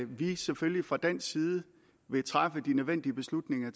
vi selvfølgelig fra dansk side vil træffe de nødvendige beslutninger